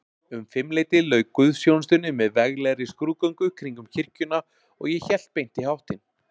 Um fimmleytið lauk guðsþjónustunni með veglegri skrúðgöngu kringum kirkjuna, og ég hélt beint í háttinn.